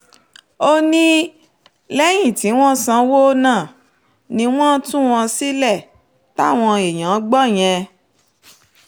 ó ní lẹ́yìn tí wọ́n sanwó náà ni wọ́n tú wọn sílẹ̀ táwọn èèyàn gbọ́ yẹn